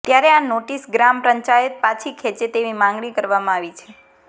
ત્યારે આ નોટીસ ગ્રામ પંચાયત પાછી ખેંચે તેવી માંગણી કરવામાં આવી છે